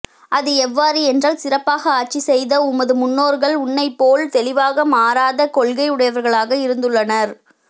அது எவ்வாறு என்றால் சிறப்பாக ஆட்சி செயத உமது முன்னோர்கள் உன்னைப் போல் தெளிவாக மாறாத கொள்கையுடையவர்களாக இருந்துள்ளனர்